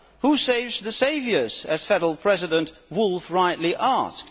Who saves the saviours, as Federal President Wulff rightly asked.